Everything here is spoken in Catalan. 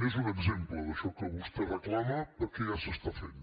n’és un exemple d’això que vostè reclama perquè ja s’està fent